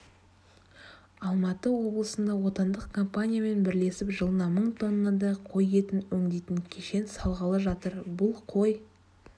алматы облысында отандық компаниямен бірлесіп жылына мың тоннадай қой етін өңдейтін кешен салғалы жатыр бұл қой